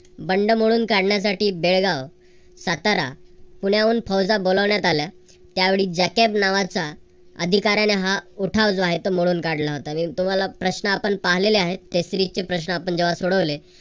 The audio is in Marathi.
बंड मोडून काढण्यासाठी बेळगाव, सातारा, पुण्याहून फौजा बोलवण्यात आल्या. त्यावेळी जॅकॅब नावाचा अधिकाऱ्याने हा जो उठाव आहे. तो मोडून काढला होता. तुम्हाला प्रश्न आपण पाहिलेले आहेत त्याचे रिक्त प्रश्न पण जेव्हा सोडवले